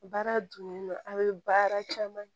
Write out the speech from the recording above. Baara dun a bɛ baara caman kɛ